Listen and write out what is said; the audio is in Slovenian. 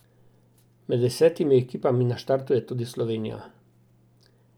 Med desetimi ekipami na štartu je tudi Slovenija.